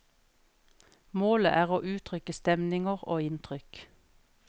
Målet er å uttrykke stemninger og inntrykk.